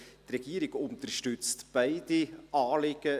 Die Regierung unterstützt beide Anliegen;